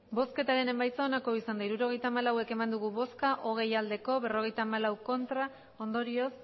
hirurogeita hamalau eman dugu bozka hogei bai berrogeita hamalau ez ondorioz